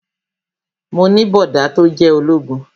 Mo ní bọ̀dá tó jẹ́ ológun